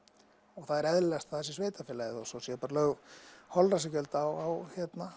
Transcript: og það er eðlilegast að það sé sveitarfélagið og svo er bara lagt holræsagjald á